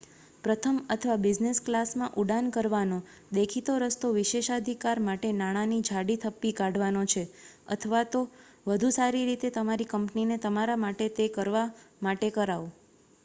પ્રથમ અથવા બિઝનેસ ક્લાસમાં ઉડાન ભરવાનો દેખીતો રસ્તો વિશેષાધિકાર માટે નાણાંની જાડી થપ્પી કાઢવાનો છે અથવા તો વધુ સારી રીતે તમારી કંપનીને તમારા માટે તે કરવા માટે કરાવો